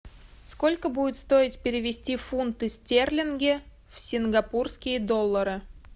сколько будет стоить перевести фунты стерлинги в сингапурские доллары